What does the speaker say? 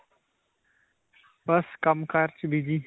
ਬਸ ਕੰਮ-ਕਾਰ 'ਚ busy.